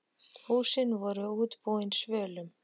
Húsin voru útbúin svölum.